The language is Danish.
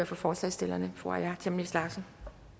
for forslagsstillerne fru aaja chemnitz larsen